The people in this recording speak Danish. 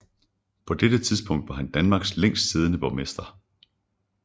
På dette tidspunkt var han Danmarks længst siddende borgmester